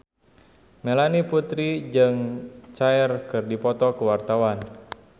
Melanie Putri jeung Cher keur dipoto ku wartawan